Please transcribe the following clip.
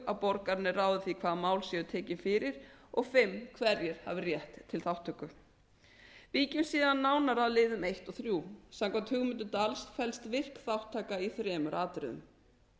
að borgararnir ráði því hvaða mál séu tekin fyrir og hverjir hafi rétt til þátttöku víkjum síðan nánar að liðum og samkvæmt hugmyndum dahls felst virk þátttaka í þremur atriðum